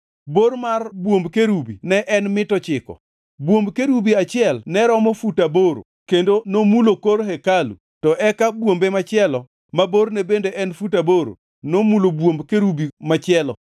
Bor mar bwomb kerubi ne en mita ochiko. Bwomb kerubi achiel ne romo fut aboro kendo nomulo kor hekalu to eka bwombe machielo ma borne bende ne fut aboro nomulo bwomb kerubi machielo.